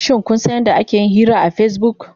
Shin kun san yadda ake yin hira akan Facebook?